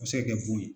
A bɛ se ka kɛ bon ye